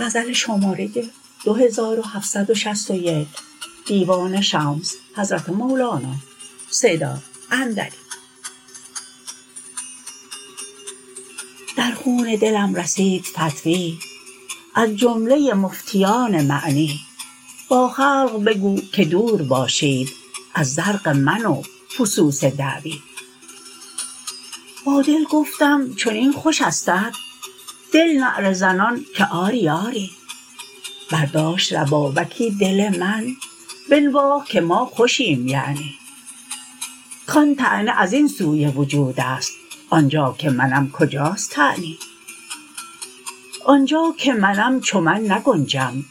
در خون دلم رسید فتوی از جمله مفتیان معنی با خلق بگو که دور باشید از زرق من و فسوس دعوی با دل گفتم چنین خوش استت دل نعره زنان که آری آری برداشت ربابکی دل من بنواخت که ما خوشیم یعنی کان طعنه از این سوی وجود است آن جا که منم کجاست طعنی آن جا که منم چو من نگنجم